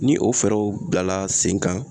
Ni o fɛɛrɛw bilala sen kan